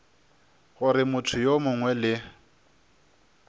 gore motho yo mongwe le